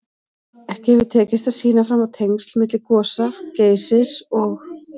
Ekki hefur tekist að sýna fram á tengsl milli gosa Geysis og